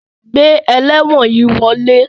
Gbé elewon yí wọle!